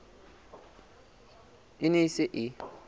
e ne e se e